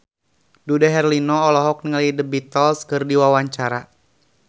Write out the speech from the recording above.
Dude Herlino olohok ningali The Beatles keur diwawancara